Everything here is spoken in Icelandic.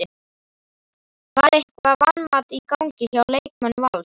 Var eitthvert vanmat í gangi hjá leikmönnum Vals?